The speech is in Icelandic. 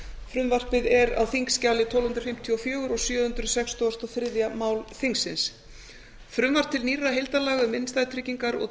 frumvarpið er á þingskjali tólf hundruð fimmtíu og fjögur og sjö hundruð sextugustu og þriðja mál þingsins frumvarp til nýrra heildarlaga um innstæðutryggingar og